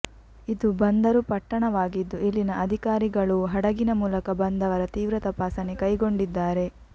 ಇದು ಬಂದರು ಪಟ್ಟಣವಾಗಿದ್ದು ಇಲ್ಲಿನ ಅಧಿಕಾರಿಗಳೂ ಹಡಗಿನ ಮೂಲಕ ಬಂದವರ ತೀವ್ರ ತಪಾಸಣೆ ಕೈಗೊಂಡಿದ್ದಾರೆ